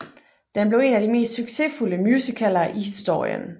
Den blev en af de mest succesfulde musicaler i historien